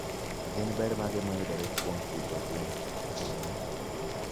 Gin ber mage mayudore kuom pidho gwen ringo?